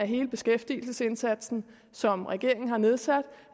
hele beskæftigelsesindsatsen som regeringen har nedsat